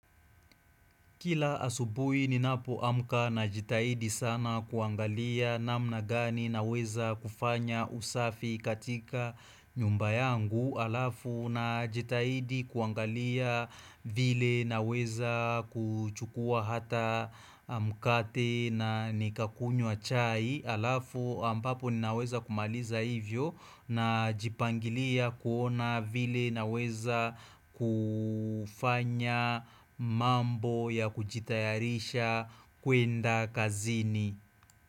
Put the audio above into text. Kila asubui ninapoamka najitahidi sana kuangalia namna gani naweza kufanya usafi katika nyumba yangu, alafu na jitahidi kuangalia vile naweza kuchukua hata mmh mkate na nikakunywa chai, alafu ambapo ninaweza kumaliza hivyo na jipangilia kuona vile naweza ku fanya mambo ya kujitayarisha kwenda kazini.